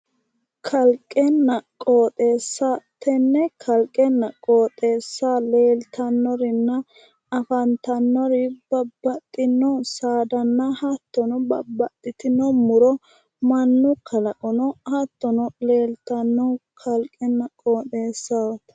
Kalqenna qooxeesa, tenne kalqenna qooxeessa leeltannorinna afantannori babbaxxinno saadanna hattono babbaxitino muro mannu kalaqono hattono leeltanno kalqenna qooxeessaho.